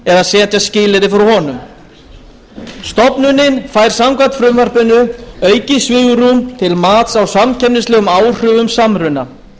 eða setja skilyrði fyrir honum stofnunin fær samkvæmt frumvarpinu aukið svigrúm til mats á samkeppnislegum áhrifum samruna